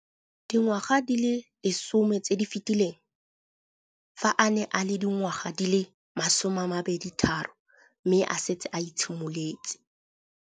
Dingwaga di le 10 tse di fetileng, fa a ne a le dingwaga di le 23 mme a setse a itshimoletse